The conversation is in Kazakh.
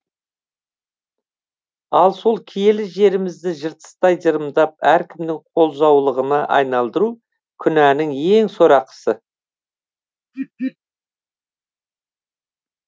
ал сол киелі жерімізді жыртыстай жырымдап әркімнің қолжаулығына айналдыру күнәнің ең сорақысы